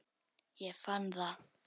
Ég fann það!